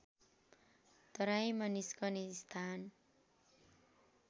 तराईमा निस्कने स्थान